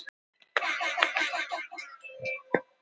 Fyrirtæki í kreppu.